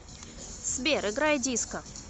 сбер играй диско